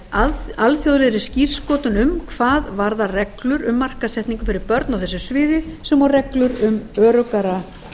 með alþjóðlegri skírskotun um hvað varðar reglur um markaðssetningu fyrir börn á þessu sviði sem og reglur um öruggara